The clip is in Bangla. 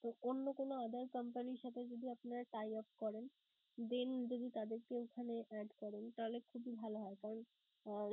তো অন্য কোন other company র সাথে যদি আপনারা tie off করেন then যদি তাদেরকে এখানে add করেন তাহলে খুবই ভালো হয়. কারণ